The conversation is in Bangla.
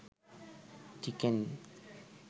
চিকেন